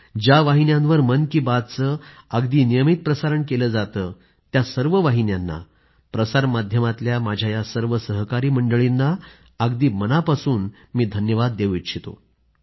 ज्या वाहिन्यांवर मन की बातचे अगदी नियमित प्रसारण केले जाते त्या सर्व वाहिन्यांना प्रसार माध्यमातल्या माझ्या या सर्व सहकारी मंडळींना अगदी मनापासून धन्यवाद देऊ इच्छितो